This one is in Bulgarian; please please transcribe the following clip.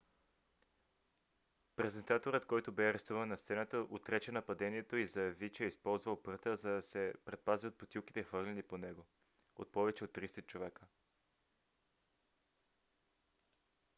презентаторът който бе арестуван на сцената отрече нападението и заяви че е използвал пръта за да се предпази от бутилките хвърляни по него от повече от тридесет човека